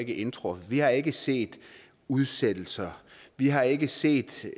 indtruffet vi har ikke set udsættelser vi har ikke set